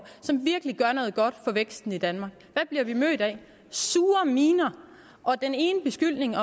som virkelig gør noget godt for væksten i danmark hvad bliver vi mødt med sure miner og den ene beskyldning